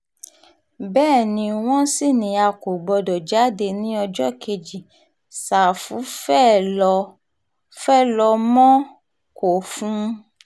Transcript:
bẹ́ẹ̀ ni wọ́n sì ní a kò gbọ́dọ̀ jáde ní ọjọ́ kejì ṣàfù fee ló mọ̀ kó fún un